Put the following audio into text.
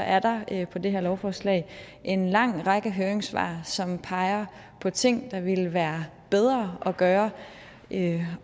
er der på det her lovforslag en lang række høringssvar som peger på ting der ville være bedre at gøre